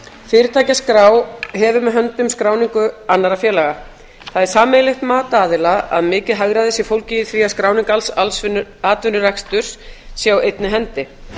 fyrirtækjaskrá hefur með höndum skráningu annarra félaga það er sameiginlegt mat aðila að mikið hagræði sé fólgið í því að skráning alls atvinnureksturs sé á einni hendi